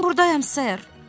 Mən burdayam sör.